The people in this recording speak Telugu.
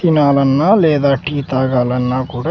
తినాలన్నా లేదా టీ తాగాలన్నా కూడా--